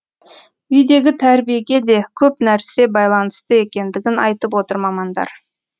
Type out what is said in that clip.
үйдегі тәрбиеге де көп нәрсе байланысты екендігін айтып отыр мамандар